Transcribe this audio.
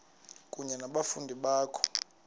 kunye nabafundi bakho